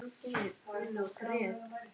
Suðið í eyrum mér magnast stöðugt.